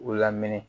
U lamini